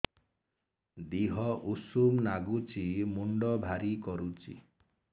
ଦିହ ଉଷୁମ ନାଗୁଚି ମୁଣ୍ଡ ଭାରି କରୁଚି